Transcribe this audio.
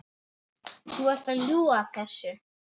Þú ert að ljúga þessu!